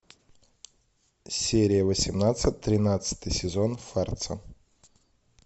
серия восемнадцать тринадцатый сезон фарца